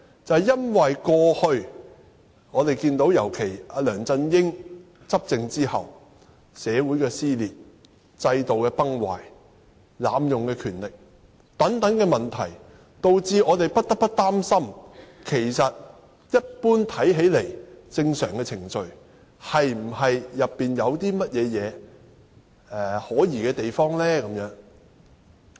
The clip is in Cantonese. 這是因為在過去一段時間，尤其是梁振英執政後，出現了社會撕裂、制度崩壞、濫用權力等問題，導致我們不得不有所擔心：這項看似正常的程序，當中有否可疑之處？